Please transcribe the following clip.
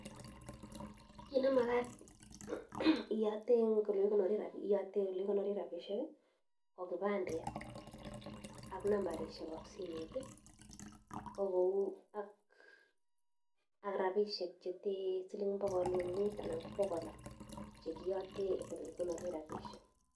Kit nemagat iyote eng ole kigonoree rabisiek, iyote oli kigonoree rabisiek ko kibandet ak nambarishekab simet, ko gou ak, ak rabisiek che te siling pokol mut anan ko pokol loo, chekiyote ole kigonoree rabisiek.